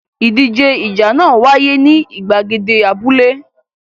Ìdíje ìjà náà wáyé ní ìgbàgede abúlé.